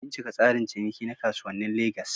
Bincika tsarin ciniki na kasuwannin Legas.